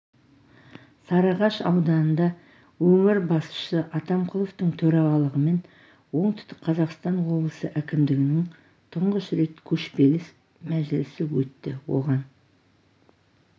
сарыағаш ауданында өңір басшысы атамқұловтың төрағалығымен оңтүстік қазақстан облысы әкімдігінің тұңғыш рет көшпелі мәжілісі өтті оған